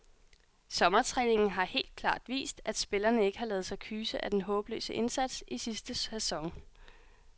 Sommertræningen har helt klart vist, at spillerne ikke har ladet sig kyse af den håbløse indsats i sidste sæson.